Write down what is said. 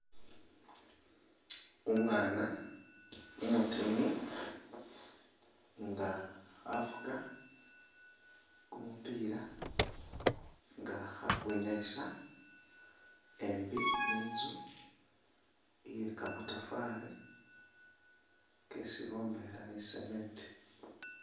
Umwana umutini nga khafuka kumupila nga khakwinyayisa embi nitsu iye kamatafari kesi bombekhela ni cement.